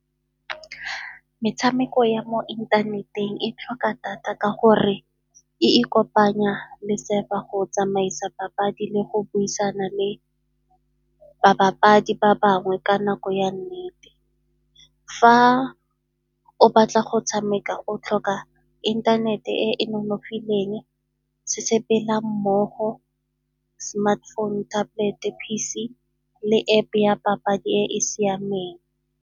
Metshameko ya mo inthaneteng e tlhoka data ka gore e ikopanya le go tsamaisa papadi le go buisana le ba bapadi ba bangwe ka nako ya nnete. Fa o batla go tshameka o tlhoka intanete e e nonofileng se sepela mmogo, smartphone, tablet-e, P_C, le App-e ya papadi e e siameng.